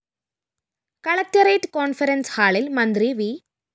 collectorate conference ഹാളില്‍ മന്ത്രി V